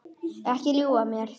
Ekki ljúga að mér.